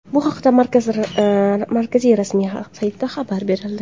Bu haqda markaz rasmiy saytida xabar berildi.